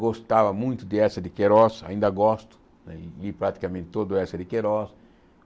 Gostava muito de Eça de Queiroz, ainda gosto de praticamente todo Eça de Queiroz.